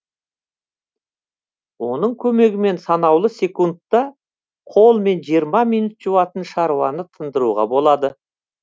оның көмегімен санаулы секундта қолмен жиырма минут жуатын шаруаны тындыруға болады